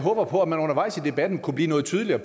håber på at man undervejs i debatten kunne blive noget tydeligere